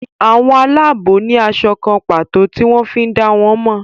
àwọn Àlàabò ní aṣọ kán pàtó tí wón fí dá wón mo.